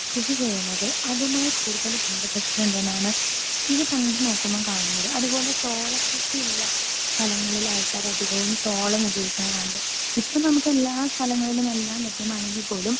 speaker 2 കൃഷി ചെയ്യിണത് അതുമായി കൂടുതൽ ബന്ധപ്പെട്ടുണ്ടെന്നാണ് ഇവ രണ്ടും നോക്കുമ്പോൾ കാണുന്നത് അതുപോലെ ചോള കൃഷി ഉള്ള സ്ഥലങ്ങളിൽ ആൾക്കാർ അധികവും ചോളം ഉപയോഗിക്കിണെ കാണുന്നുണ്ട് ഇപ്പൊ നമുക്ക് എല്ലാ സ്ഥലങ്ങളിലും എല്ലാം ലഭ്യമാണെങ്കിൽ പോലും